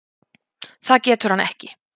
Það getur hann ekki.